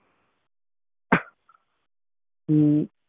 ਹਮਮ